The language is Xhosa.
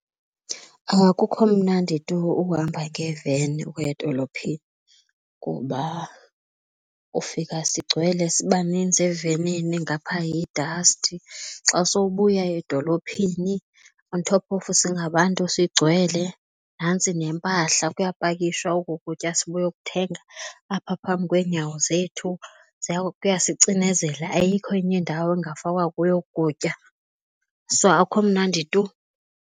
Akukho mnandi tu ukuhamba nge-van ukuya edolophini kuba ufika sigcwele sibaninzi evenini ngapha yidasti, xa sowubuya edolophini on top of singabantu sigcwele nantsi nempahla kuyapakishwa oku kutya sibuyokuthenga apha phambi kweenyawo zethu kuyasicinezela kuya ayikho enye indawo ekungafakwa kuyo oku kutya. So akukho mnandi tu.